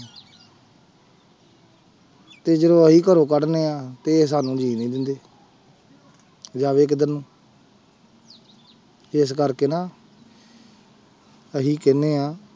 ਤੇ ਜਦੋਂ ਅਸੀਂ ਘਰੋਂ ਕੱਢਦੇ ਹਾਂ ਤੇ ਸਾਨੂੰ ਜੀਣ ਨੀ ਦਿੰਦੇ ਜਾਵੇ ਕਿੱਧਰ ਨੂੰ ਇਸ ਕਰਕੇ ਨਾ ਅਸੀਂ ਕਹਿੰਦੇ ਹਾਂ,